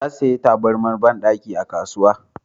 Ta saya tabarmar banɗaki a kasuwa